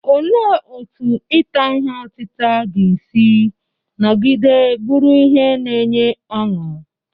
Olee otú ita ihe otita ga-esi nọgide bụrụ ihe na-enye ọṅụ?